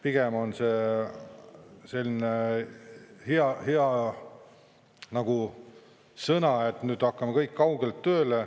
Pigem on see selline nagu hea sõna, et nüüd hakkame kõik kaugelt tööle.